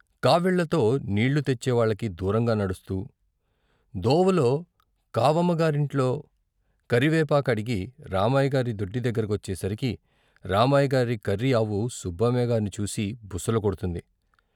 కావిళ్ళతో నీళ్ళు తెచ్చేవాళ్ళకి దూరంగా నడుస్తూ దోవలో కావమ్మగారింట్లో కరివేపాకడిగి రామయ్య గారి దొడ్డి దగ్గర కొచ్చేసరికి రామయ్యగారి కర్రి ఆవు సుబ్బమ్మగార్ని చూసి బుసలు కొడ్తుంది.